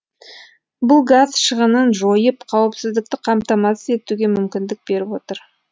бұл газ шығынын жойып қауіпсіздікті қамтамасыз етуге мүмкіндік беріп отыр